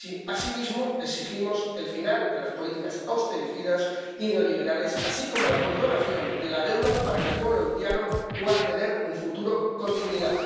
Asimismo, exigimos el final de las políticas austericidas y neoliberales, así como la condonación de la deuda para que el pueblo haitiano pueda tener un futuro con dignidad.